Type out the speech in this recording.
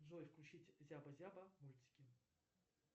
джой включить зяба зяба мультики